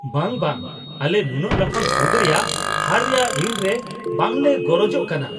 ᱵᱟᱝ, ᱵᱟᱝ! ᱟᱞᱮ ᱱᱩᱱᱟᱹᱜ ᱞᱟᱯᱷᱟᱝ ᱥᱩᱫ ᱨᱮᱭᱟᱜ ᱦᱟᱨ ᱨᱮᱭᱟᱜ ᱨᱤᱱ ᱨᱮ ᱵᱟᱝ ᱞᱮ ᱜᱚᱨᱚᱡᱚᱜ ᱠᱟᱱᱟ ᱾